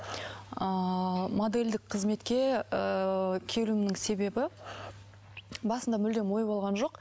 ыыы модельдік қызметке ыыы келуімнің себебі басында мүлдем ой болған жоқ